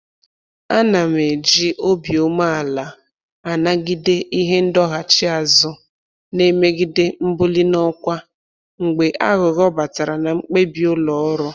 Ana m eji obi umeala anagide ihe ndọghachi azụ na-emegide mbuli n'ọkwa mgbe aghụghọ batara na mkpebi ụlọ ọrụ